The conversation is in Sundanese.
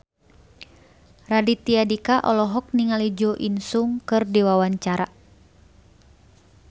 Raditya Dika olohok ningali Jo In Sung keur diwawancara